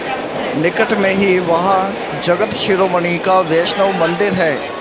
निकट में ही वहाँ जगत शिरोमणि का वैष्णव मंदिर है